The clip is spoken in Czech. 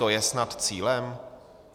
To je snad cílem?